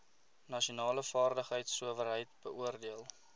nasionale vaardigheidsowerheid beoordeel